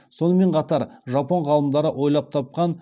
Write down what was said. сонымен қатар жапон ғалымдары ойлап тапқан